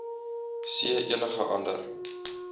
c enige ander